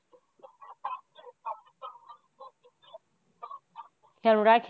খেয়াল রাখিনা।